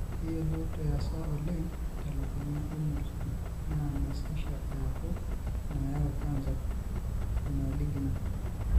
Keiyiolot easa oleng telukunya oemurt naa mesesha eaku inaayau cancer (imalignant).